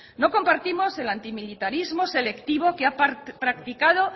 no compartimos el antimilitarismo selectivo que ha practicado